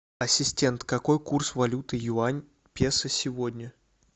ассистент какой курс валюты юань песо сегодня